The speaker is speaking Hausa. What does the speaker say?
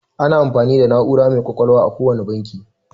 Ana amfani da na'ura mai ƙwaƙwalwa a kowane banki.